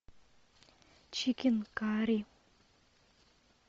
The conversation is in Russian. чикен карри